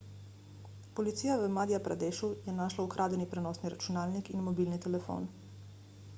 policija v madja pradešu je našla ukradeni prenosni računalnik in mobilni telefon